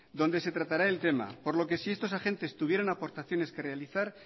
donde se tratará el tema por lo que si estos agentes tuvieran aportaciones que realizar